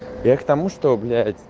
я к тому что блять